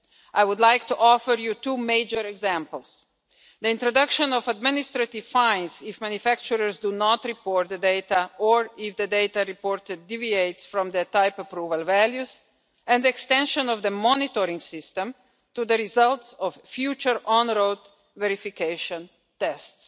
I would like to offer you two major examples the introduction of administrative fines if manufacturers do not report the data or if the data reported deviates from their type approval values, and the extension of the monitoring system to the results of future on road verification tests.